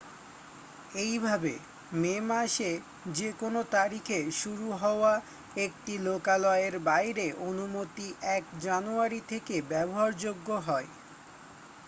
এইভাবে মে মাসে যে কোনো তারিখে শুরু হওয়া একটি লোকালয়ের বাইরের অনুমতি 1 জানুয়ারি থেকে ব্যবহারযোগ্য হয়